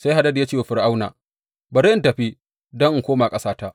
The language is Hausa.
Sai Hadad ya ce wa Fir’auna, Bari in tafi, don in koma ƙasata.